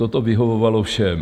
Toto vyhovovalo všem.